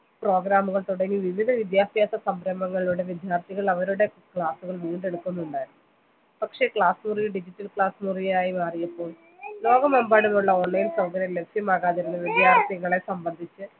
program ഉകൾ തുടങ്ങി വിവിധ വിദ്യാഭ്യാസ സംരംഭങ്ങളിലൂടെ വിദ്യാർത്ഥികൾ അവരുടെ class ഉകൾ വീണ്ടെക്കുന്നുണ്ടായിരുന്നു പക്ഷെ class മുറികൾ digital class മുറികളായി മാറിയപ്പോൾ ലോകം എമ്പാടുമുള്ള online സൗകര്യം ലഭ്യമാകാതിരുന്നത് വിദ്യാർത്ഥികളെ സംബന്ധിച്ച്